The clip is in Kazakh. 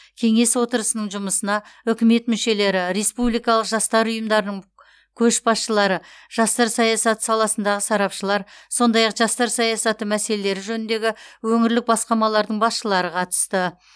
кеңес отырысының жұмысына үкімет мүшелері республикалық жастар ұйымдарының көшбасшылары жастар саясаты саласындағы сарапшылар сондай ақ жастар саясаты мәселелері жөніндегі өңірлік басқармалардың басшылары қатысты